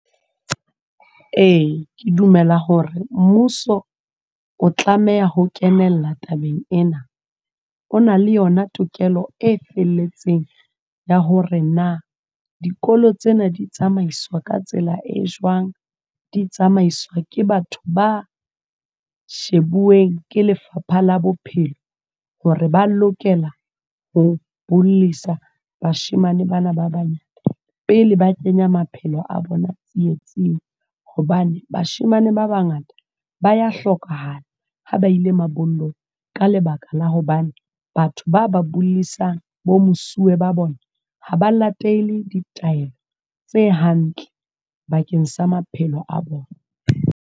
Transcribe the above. Ee, ke dumela hore mmuso o tlameha ho kenella tabeng ena. O na le yona tokelo e felletseng ya hore na dikolo tsena di tsamaiswa ka tsela e jwang? Di tsamaiswa ke batho ba shebueng ke Lefapha la Bophelo hore ba lokela ho bollisa bashemane ba na ba banyane, pele ba kenya maphelo a bona tsietsing. Hobane bashemane ba bangata ba ya hlokahala ha ba ile mabollong, ka lebaka la hobane batho ba ba bollisang, bo mosuwe ba bona, ha ba latele ditaelo tse hantle bakeng sa maphelo a bona.